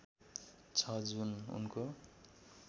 छ जुन उनको